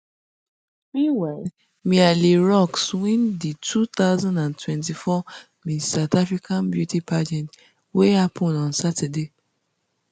meanwhile mia le roux win di two thousand and twenty-four miss south africa beauty pageant wey happun on saturday